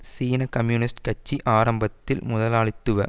சீன கம்யூனிஸ்ட் கட்சி ஆரம்பத்தில் முதலாளித்துவ